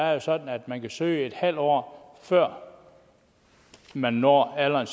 er jo sådan at man kan søge en halv år før man når alderen